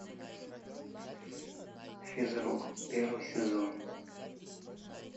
физрук первый сезон